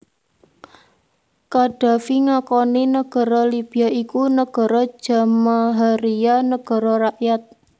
Qaddafi ngakoni nagara Libya iku nagara Jamahariya Nagara Rakyat